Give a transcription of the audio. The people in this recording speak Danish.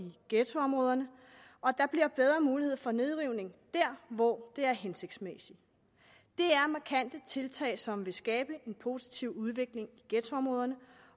ghettoområderne og der bliver bedre mulighed for nedrivning der hvor det er hensigtsmæssigt det er markante tiltag som vil skabe en positiv udvikling i ghettoområderne